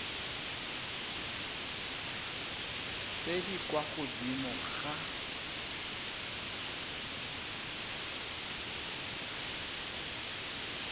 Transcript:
tse di kwa godimo ga